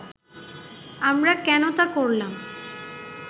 আমরা কেন তা করলাম